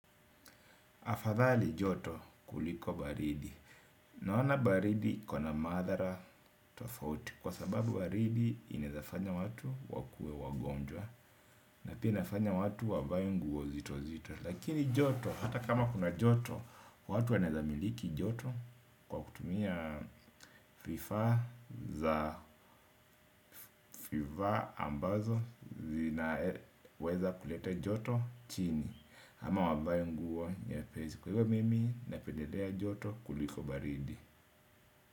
Afadhali joto kuliko baridi. Naona baridi ikona madhara tofauti. Kwa sababu baridi inawezafanya watu wakuwe wagonjwa. Na pia inafanya watu wavae nguo nzito nzito. Lakini joto hata kama kuna joto. Watu wanaweza miliki joto. Kwa kutumia vifaa za vifaa ambazo zinaweza kulete joto chini. Ama wavae nguo nyepesi. Kwa hivo mimi na pendelea joto kuliko baridi.